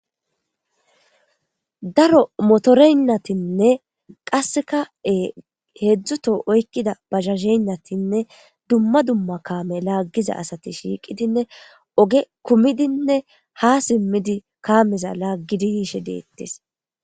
Daro motoreynnatinne qasseka e heedzdzuto oykkida bahasheynnatinne dumma dumma kaame laaggiza asati shiiqidinne oge kumidinne ha simmidi kaameza laaggidiyiishe deettis.